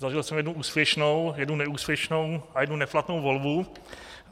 Zažil jsem jednu úspěšnou, jednu neúspěšnou a jednu neplatnou volbu.